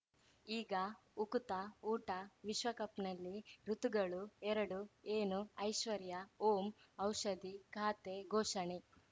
ಈಗ ಉಕುತ ಊಟ ವಿಶ್ವಕಪ್‌ನಲ್ಲಿ ಋತುಗಳು ಎರಡು ಏನು ಐಶ್ವರ್ಯಾ ಓಂ ಔಷಧಿ ಖಾತೆ ಘೋಷಣೆ